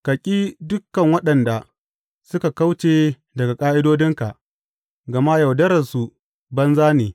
Ka ki dukan waɗanda suka kauce daga ƙa’idodinka, gama yaudararsu banza ne.